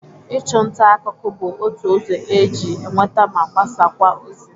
Ịchụ nta akụkụ bụ otu ụzọ e ji enweta ma gbasakwa ozi.